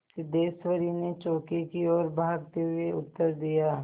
सिद्धेश्वरी ने चौके की ओर भागते हुए उत्तर दिया